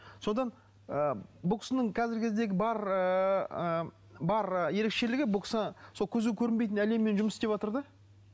содан ы бұл кісінің қазіргі кездегі бар ыыы бар ы ерекшелігі бұл кісі сол көзге көрінбейтін әлеммен жұмыс істеватыр да